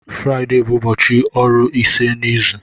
Fraịde bụ ụbọchị ọrụ ise n'izu.